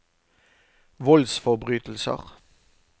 voldsforbrytelser